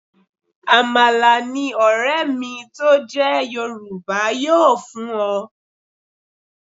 Àmàlà ni ọ̀rẹ́ mi tó jẹ́ Yorùbá yóò fún ọ.